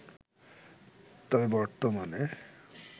তবে বর্তমানে